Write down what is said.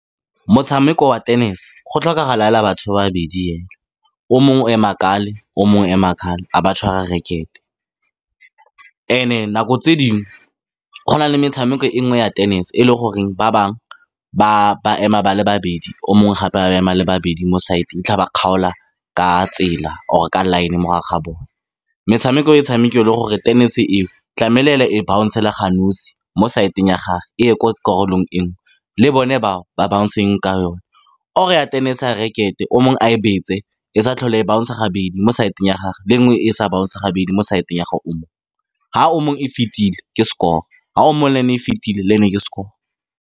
Motshameko wa tennis-e, go tlhokagala fela batho ba babedi fela o mongwe o ema , o mongwe o ema a ba tshwara racket-e. And-e, nako tse dingwe, go na le metshameko e mengwe ya tennis-e, e le gore ba bangwe ba ema ba le babedi, o mongwe gape a ba ema, ba le ba babedi mo side-ng ba kgaola ka tsela, or-e ka line mogare ga bone. Metshameko e tshamekiwa e le gore tennis-e eo tlamehile e bounce fela ga nosi mo side-ng ya gagwe, e ye ko karolong engwe, le bone bao ba bounce-e ka yone. Or-e tennis-e ya racket-e, o mongwe a e betse, e sa tlhole e bouncer-a gabedi mo side-ng ya gagwe, le e nngwe e sa bouncer-a gabedi mo side-ng ya ga o mongwe. Fa o mongwe e fetile, ke score-e, fa o mongwe le ene e fetile, le ene ke score-e.